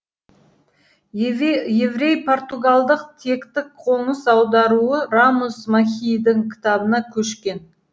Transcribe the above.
еврей португалдық тектің қоныс аударуы рамос мехиидің кітабына көшкен